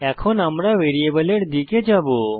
এখন আমরা ভ্যারিয়েবলের দিকে যাবো